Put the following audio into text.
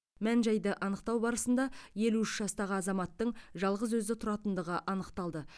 мән жайды анықтау барысында елу үш жастағы азаматтың жалғыз өзі тұратындығы анықталды